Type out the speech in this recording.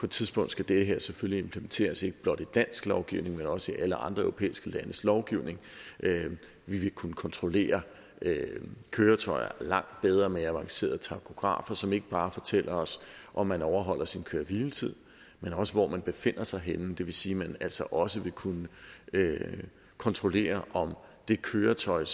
tidspunkt skal det her selvfølgelig implementeres ikke blot i dansk lovgivning men også i alle andre europæiske landes lovgivning vi vil kunne kontrollere køretøjer langt bedre med avancerede tachografer som ikke bare fortæller os om man overholder sin køre og hviletid men også hvor man befinder sig henne det vil sige at man altså også vil kunne kontrollere om det køretøj